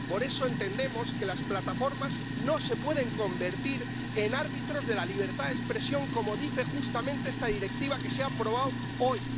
Por eso entendemos que las plataformas no se pueden convertir en árbitros de la libertad de expresión, como dice justamente esta Directiva que se ha aprobado hoy.